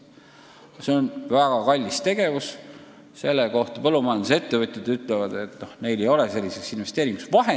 See on väga kallis tegevus ja põllumajandusettevõtjad ütlevad, et neil ei ole selliseks investeeringuks raha.